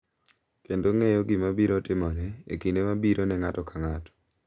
kendo ng’eyo gima biro timore e kinde mabiro ne ng’ato ka ng’ato.